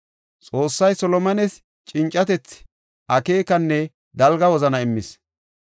Xoossay Solomones cincatethi, akeekanne dalga wozana immis.